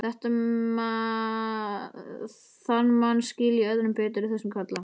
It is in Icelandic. Þann mann skil ég öðrum betur í þessum klefa.